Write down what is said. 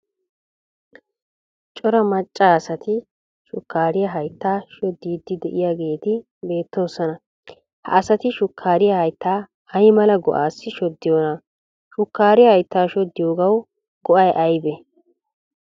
Cora macca asati shukkaariya hayttaa shoddiidi diyaageeti beettoosona. Ha asati shukaariya haytta ay mala go'aassi shoddiyoona shukaariya hayttaa shoddiyoogaw go"ay aybee?